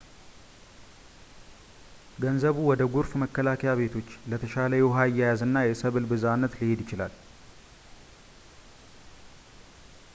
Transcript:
ገንዘቡ ወደ ጎርፍ መከላከያ ቤቶች ፣ ለተሻለ የውሃ አያያዝ እና የሰብል ብዝሃነት ሊሄድ ይችላል